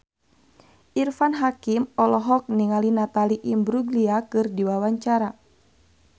Irfan Hakim olohok ningali Natalie Imbruglia keur diwawancara